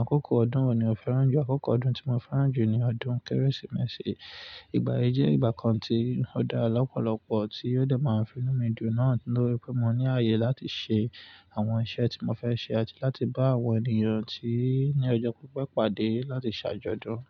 àkókò ọdún wo ni o fẹ́ràn jù? Àkókò ọdún tí mo fẹ́ràn jù ni ọdún Kérésìmesì. Ìgbà yí jẹ́ ìgbà kan tí ó dára lọ́pọ̀lọpọ̀ tí ó dà máa ń finú mi dun náà nítorí pé mo ní ààyè láti ṣe àwọn iṣẹ́ tí mo fẹ́ ṣe àti láti bá àwọn ènìyàn tí ní ọjọ́ pípẹ́ pàdé láti ṣàjọ̀dún.